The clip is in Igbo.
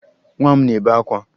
Nwa m na-ebe akwa